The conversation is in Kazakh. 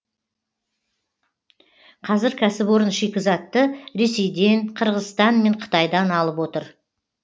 қазір кәсіпорын шикізатты ресейден қырғызстан мен қытайдан алып отыр